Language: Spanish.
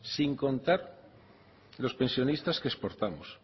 sin contar los pensionistas que exportamos